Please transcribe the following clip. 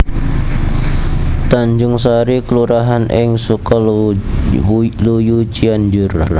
Tanjungsari kelurahan ing Sukaluyu Cianjur